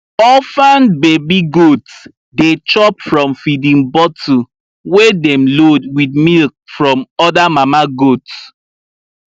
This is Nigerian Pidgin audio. orphan baby goats dey chop from feeding bottle wey dem load with milk from other mama goats